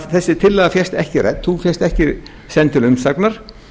þessi tillaga fékkst ekki rædd hún fékkst ekki send til umsagnar